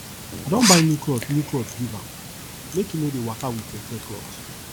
i don buy new clot new clot give am make e no dey waka wit teartear clot